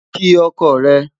kí ọkọ re